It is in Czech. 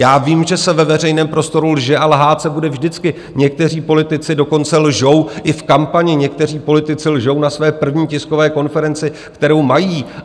Já vím, že se ve veřejném prostoru lže a lhát se bude vždycky, někteří politici dokonce lžou i v kampani, někteří politici lžou na své první tiskové konferenci, kterou mají.